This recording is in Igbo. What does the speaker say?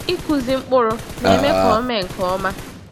Ikụzi mkpụrụ n'eme ka ome nke ọma.